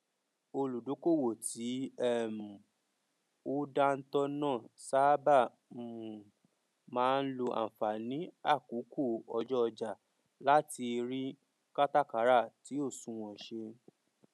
olùdókòwò tí um ó dántọ náà sáábà um máa n lò ànfàní àkókò ọjọ ọjà láti rí kátàkàrà tì ó sunwọn ṣe